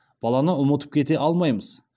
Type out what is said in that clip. баланы ұмытып кете алмаймыз